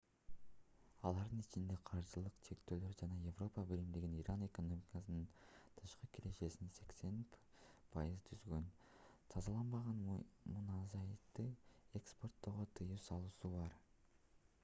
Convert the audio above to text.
алардын ичинде каржылык чектөөлөр жана европа биримдигинин иран экономикасынын тышкы кирешесинин 80% түзгөн тазаланбаган мунайзатты экспорттоого тыюу салуусу бар